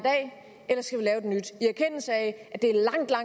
erkendelse af at det